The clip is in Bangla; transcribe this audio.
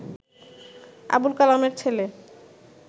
আবুল কালামের ছেল